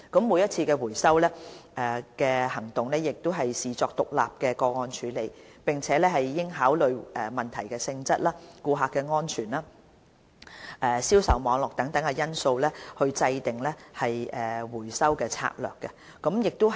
每次回收行動應視作獨立的個案處理，並應考慮問題的性質、顧客安全、銷售網絡等因素，以制訂回收策略。